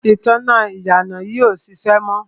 ìtanná ìyànà yìí ò ṣiṣẹ́ mọ́.